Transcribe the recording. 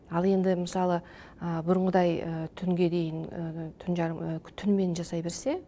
ал енді мысалы бүрынғыдай түнге дейін түн жарым түнімен жасай берсе